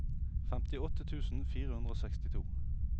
femtiåtte tusen fire hundre og sekstito